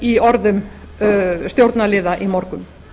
í orðum stjórnarliða í morgun